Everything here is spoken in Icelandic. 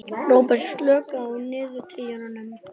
Róberta, slökktu á niðurteljaranum.